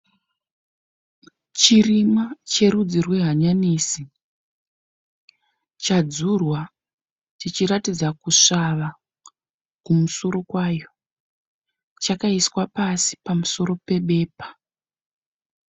Chirimwa cherudzi rwehanyanisi, chadzurwa chichiratidza kusvava kumusoro kwayo. Chakaiswa pasi pamusoro pebepa.